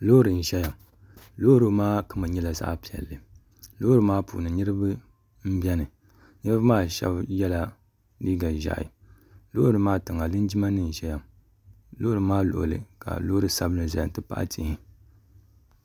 loori n ʒɛya loori maa kama nyɛla zaɣ piɛlli loori maa puuni niraba n biɛni niraba maa shab yɛla liiga ʒiɛhi loori maa tiŋa linjima nim n ʒɛya loori maa luɣuli ka loori sabinli ʒɛya n ti pahi tihi